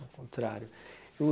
O contrário.